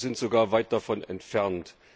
Wir sind sogar weit davon entfernt.